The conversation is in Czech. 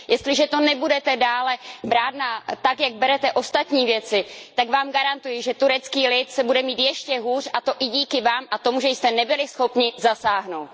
Jestliže to budete dále brát tak, jak berete ostatní věci, tak Vám garantuji, že turecký lid se bude mít ještě hůř a to i díky Vám a tomu, že jste nebyli schopni zasáhnout.